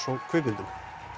og kvikmyndum